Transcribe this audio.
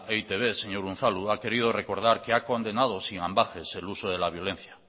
e i te be señor unzalu ha querido recordar que ha condenada sin ambages el uso de la violencia